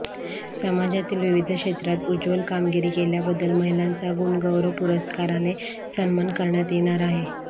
समाजातील विविध क्षेत्रात उज्ज्वल कामगिरी केल्याबद्दल महिलांचा गुणगौरव पुरस्काराने सन्मान करण्यात येणार आहे